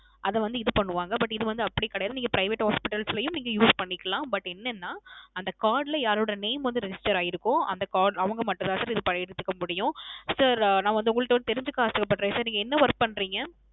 அத வந்து இது பண்ணுவாங்க But இது வந்து அப்படி கிடையாது நீங்க Private hospitals ளையும் நீங்கள் Use பண்ணிக்கலாம் But ஏன்னனா அந்த Card ல யாரோட Name வந்து Register ஆயிருக்கோ அந்த அவங்க மட்டும் தான் Sir இத பயனுச்சுக்க முடியும் நான் வந்து உங்கள்ட வந்து தெரிஞ்சுக்க ஆசைப்படுறேன் Sir நீங்க என்ன Work பண்றிங்க